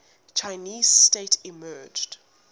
chinese state emerged